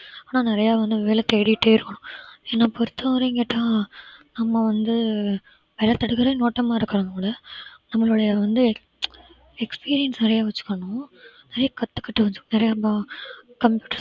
ஆனா நிறைய வந்து வேலை தேடிட்டே இருக்கணும் என்ன பொறுத்தவரைக்கு கேட்ட நம்ம வந்து நம்மளுடைய வந்து experience நிறைய வச்சுக்கணும் நிறைய கத்துக்கிட்டு வச்சுக்கணும் நிறையா இப்ப computer